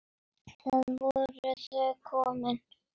Þarna voru þau komin.